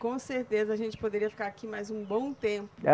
Com certeza a gente poderia ficar aqui mais um bom tempo.